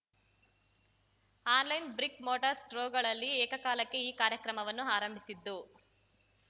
online brick mortar ಸ್ಟ್ರೋಗಳಲ್ಲಿ ಏಕಕಾಲಕ್ಕೆ ಈ ಕಾರ್ಯಕ್ರಮವನ್ನು ಆರಂಭಿಸಿದ್ದು